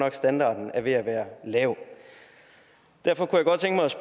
at standarden er ved at være lav derfor kunne